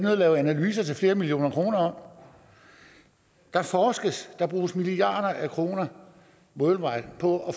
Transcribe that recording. at lave analyser til flere millioner kroner om der forskes der bruges milliarder af kroner worldwide på at